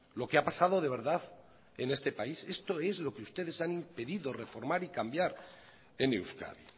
lo que ha pasado de verdad en este país esto es lo que ustedes han impedido reformar y cambiar en euskadi